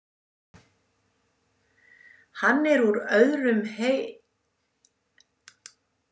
Hann er úr öðrum hei.